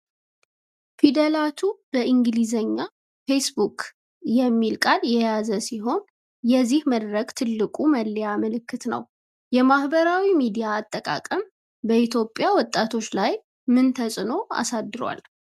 ፊደላቱ በእንግሊዝኛ "facebook" የሚል ቃል የያዘ ሲሆን፤ የዚህ መድረክ ትልቁ መለያ ምልክት ነው። የማኅበራዊ ሚዲያ አጠቃቀም በኢትዮጵያ ወጣቶች ላይ ምን ተጽዕኖ አሳድሯል?